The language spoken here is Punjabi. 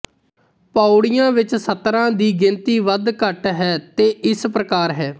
ਪਉੜੀਆਂ ਵਿਚ ਸਤਰਾਂ ਦੀ ਗਿਣਤੀ ਵਧ ਘਟ ਹੈ ਤੇ ਇਸ ਪ੍ਰਕਾਰ ਹੈ